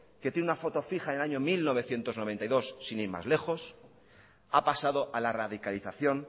que tiene una foto fija en el año mil novecientos noventa y dos sin ir más lejos ha pasado a la radicalización